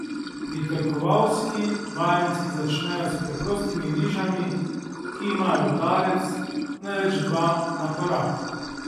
Pritrkovalski vajenci začnejo s preprostimi vižami, ki imajo udarec, največ dva, na korak.